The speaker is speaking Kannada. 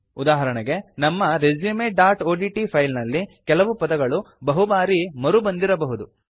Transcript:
ಉದಾಹರಣೆಗಾಗಿ ನಮ್ಮ resumeಒಡಿಟಿ ಫೈಲ್ ನಲ್ಲಿ ಕೆಲವು ಪದಗಳು ಬಹುಬಾರಿ ಮರುಬಂದಿರಬಹುದು